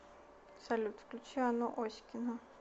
салют включи анну оськину